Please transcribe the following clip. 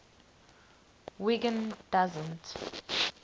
wiggin doesn t